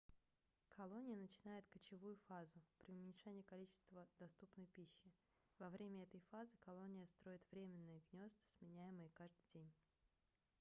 колония начинает кочевую фазу при уменьшении количества доступной пищи во время этой фазы колония строит временные гнёзда сменяемые каждый день